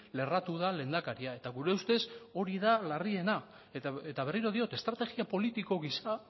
lerratu da lehendakaria eta gure ustez hori da larriena eta berriro diot estrategia politiko giza